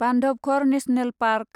Bandhavgarh national park